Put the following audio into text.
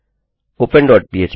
open dot पह्प